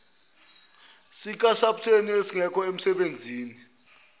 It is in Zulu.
sikasaps esingekho emsebenzini